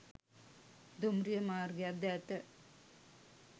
දුම්රිය මාර්ගයක් ද ඇත